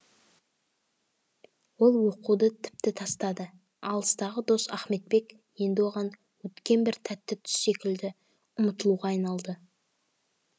ол оқуды тіпті тастады алыстағы дос ахметбек енді оған өткен бір тәтті түс секілді ұмытылуға айналды